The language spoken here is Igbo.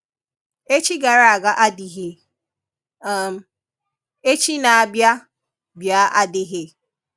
Echi gara aga adịghị, um echi na-abia bia adịghị